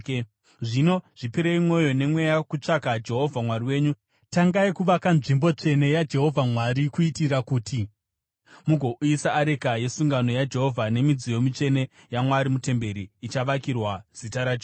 Zvino zvipirei mwoyo nemweya kutsvaka Jehovha Mwari wenyu. Tangai kuvaka nzvimbo tsvene yaJehovha Mwari, kuitira kuti mugouyisa areka yesungano yaJehovha nemidziyo mitsvene yaMwari mutemberi ichavakirwa Zita raJehovha.”